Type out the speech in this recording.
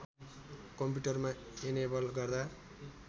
कम्प्युटरमा एनेबल गर्दा